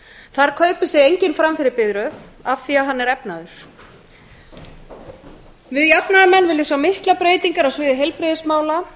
þar kaupir sig enginn fram fyrir biðröð af því að hann er efnaður við jafnaðarmenn viljum sjá miklar breytingar á sviði heilbrigðismála